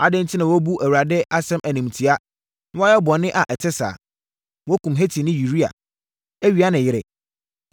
Adɛn enti na woabu Awurade asɛm animtia, na woayɛ bɔne a ɛte saa? Woakum Hetini Uria, awia ne yere.